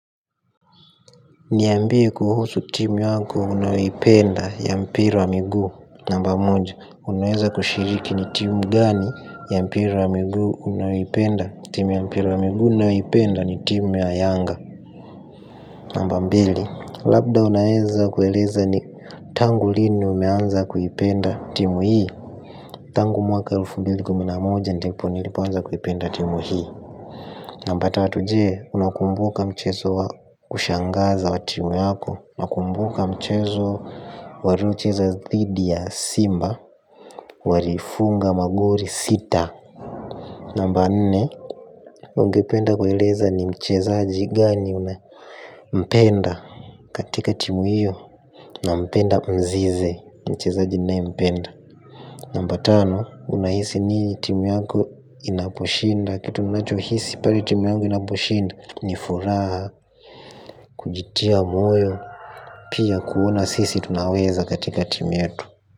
Niambie kuhusu timu yako unayoipenda ya mpira wa miguu. Namba moja, unaweza kushiriki ni timu gani ya mpira wa miguu unayoipenda. Timu ya mpira wa miguu ninayoipenda ni timu ya yanga. Namba mbili, labda unaweza kueleza ni tangu lini umeanza kuipenda timu hii. Tangu mwaka elfu mbili kumi na moja ndipo nilipoanza kuipenda timu hii. Namba tatu je, unakumbuka mchezo wa kushangaza wa timu yako. Na kumbuka mchezo warocheza dhidi ya simba. Warifunga magori sita. Namba nne, ungependa kueleza ni mchezaji gani unampenda. Katika timu hiyo, nampenda mzize. Mchezaji ninayempenda. Namba tano, unahisi ni timu yako inaposhinda. Kitu unacho hisi pale timu yangu inaposhinda ni furaha, kujitia moyo, pia kuona sisi tunaweza katika timu yetu.